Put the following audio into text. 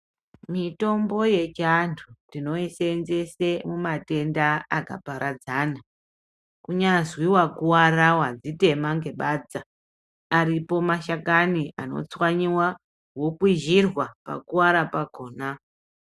Mitombo yechiantu tinoishandise mumatenda akaparadzana kunyazi vakuvara, vadzitema nebadza ariko mashakani anotsvanyiwa vokwizirwa pakuwara pakona.